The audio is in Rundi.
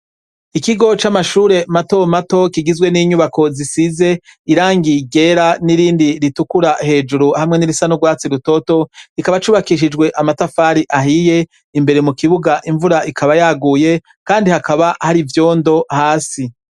Ikigo c'amashure mato mato kigizwe n'inyubako zisize irangi ryera, n' irindi ritukura hejuru ,hamwe n'irindi risa n'urwatsi rutoto ,kikaba cubakishijwe amatafari ahiye, imbere mukibuga imvura ikaba yaguye ,kandi hakaba hari ivyondo hasi.